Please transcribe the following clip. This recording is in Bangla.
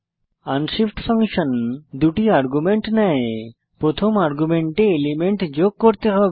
আনশিফট ফাংশন 2 টি আর্গুমেন্ট নেয় প্রথম আর্গুমেন্টে এলিমেন্ট যোগ করতে হবে